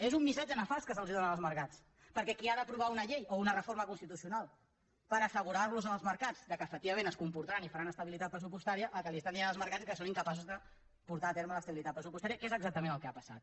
és un missatge nefast que es dóna als mercats perquè els qui han d’aprovar una llei o una reforma constitucional per assegurar als mercats que efectivament es comportaran i faran estabilitat pressupostària el que estan dient als mercats és que són incapaços de portar a terme l’estabilitat pressupostària que és exactament el que ha passat